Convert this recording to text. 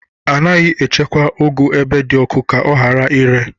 Anaghị echekwa ụgụ ebe dị ọkụ ka ọ ghara ire.